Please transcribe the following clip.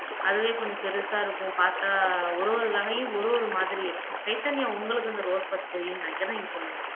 அதுவே கொஞ்சம் பெருசா இருக்கும் பார்த்தா ஒரு ஒரு வகையும் ஒரு ஒரு மாதிரி இருக்கும் சைதன்யா உங்களுக்கு இந்த ரோஸ் பத்தி தெரியும்ன்னு நினைக்கிறேன் நீங்க சொல்லுங்க